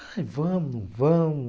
Aí, vamos não vamos.